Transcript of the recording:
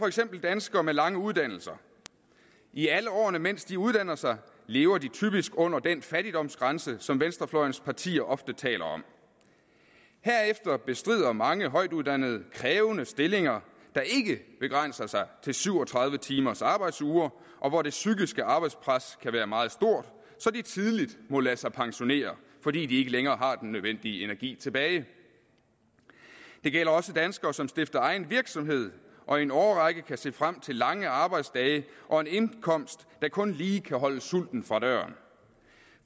eksempel danskere med lange uddannelser i alle årene mens de uddanner sig lever de typisk under den fattigdomsgrænse som venstrefløjens partier ofte taler om herefter bestrider mange højtuddannede krævende stillinger der ikke begrænser sig til syv og tredive timers arbejdsuger og hvor det psykiske arbejdspres kan være meget stort så de tidligt må lade sig pensionere fordi de ikke længere har den nødvendige energi tilbage det gælder også danskere som stifter egen virksomhed og i en årrække kan se frem til lange arbejdsdage og en indkomst der kun lige kan holde sulten fra døren